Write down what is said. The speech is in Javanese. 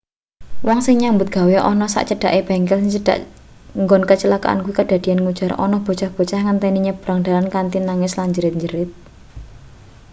wong sing nyambut gawe ana sak cedhake bengkel sing cedhak nggon kacilakan kuwi kadadeyan ngujar ana bocah-bocah ngenteni nyebrang dalan kanthi nangis lan jerat-jerit